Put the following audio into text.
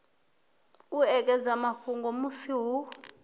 u ekedza mafhungo musi hu